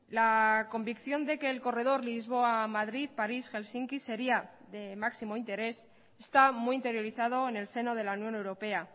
la convicción de que el corredor lisboa madrid parís helsinki sería de máximo interés está muy interiorizado en el seno de la unión europea